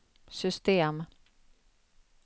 system